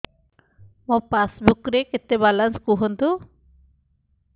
ମୋ ପାସବୁକ୍ ରେ କେତେ ବାଲାନ୍ସ କୁହନ୍ତୁ